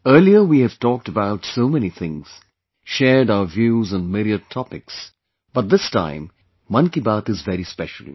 Earlier we have talked about so many things, shared our views on myriad topics, but, this time 'Mann Ki Baat' is very special